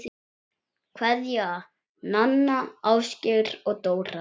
Kveðja, Nanna, Ásgeir og Dóra